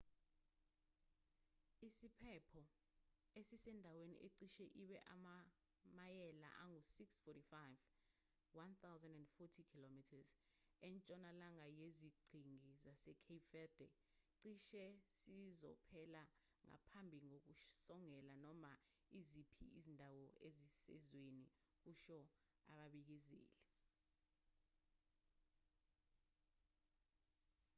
isiphepho esisendaweni ecishe ibe amamayela angu-645 1040 km entshonalanga yeziqhingi zasecape verde cishe sizophela ngaphambi kokusongela noma iziphi izindawo ezisezweni kusho ababikezeli